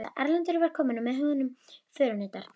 Erlendur var kominn og með honum förunautar.